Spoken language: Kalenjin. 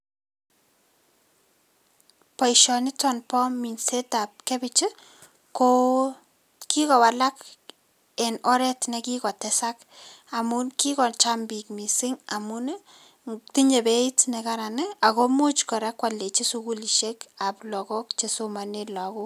Boisioniton bo minsetab kabich ko kikowalak en oret nekikotesak amun kikocham biik missing' amun ii tinye beit nekaran ii ago imuch kora kwoldechi sukulisiekab logok chesomonen logok.